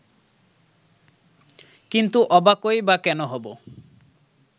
কিন্তু অবাকই বা কেন হব